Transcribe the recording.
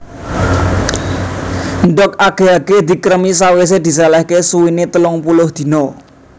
Ndhog age age dikremi sawise diselehke suwene telung puluh dina